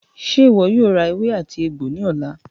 Ṣe iwọ yoo ra ewé àti egbo ni ọla?